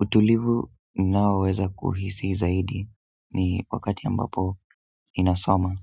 Utulivu ninaoweza kuhisi zaidi ni wakati ambapo ninasoma,